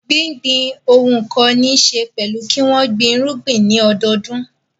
Gbígbin ohun kan níṣe pẹ̀lú kí wọ́n gbin irúgbìn ní ọdọọdún.